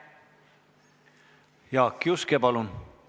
Jaak Juske, palun!